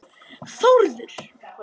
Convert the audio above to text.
Þórður